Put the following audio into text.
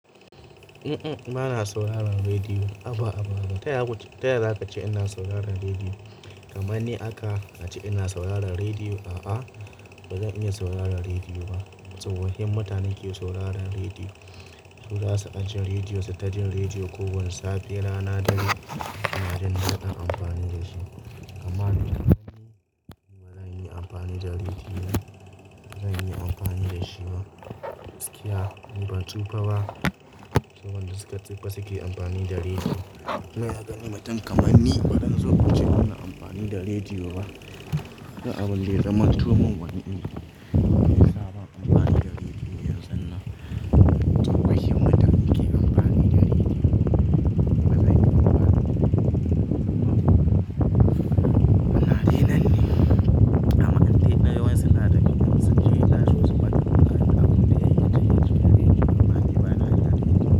Uhm, uhm. Bana sauraron rediyo. A'a, ba a'a ba. Taya ku-- taya za ka ce ina sauraron rediyo? Kamanni aka a ce ina sauraron rediyo? A'a, bazan iya sauraron rediyo ba. Tsohohin mutane ke sauraron rediyo. Su za su ɗauki rediyo, su ta jin rediyo kowane safe, rana, dare suna jin su ka ɗan amfani da shi. Kamanni, ba zan yi amfani da rediyo ba. Ba zan yi amfani da shi ba. Tsakiya ni ban tsufa ba. Tsohon da suka tsufa suke amfani da rediyo. Bazaga ni mutum kamar ni ba zan zo ku ce bana amfani da rediyo ba. Da abun da abinda ya zamantu wani in ya fi sabon amfani da rediyo yanzu nan. Tsohohin mutane ke amfani da rediyo. Bazan yi ba. Haba, da dai nan ne. Amma in dai wasu na dabi'un wasu. Kiyin naso su ba ku karɓa abin da yake cewa rediyo ba. Ni bana iya amfani da.